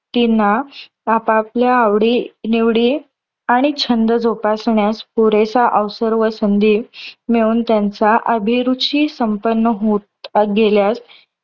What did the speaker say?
व्यक्तींना आपापल्या आवडी निवडी आणि छंद जोपासण्यास पुरेसा अवसर व संधी मिळून, त्यांचा अभिरुची संपन्न होत गेल्यास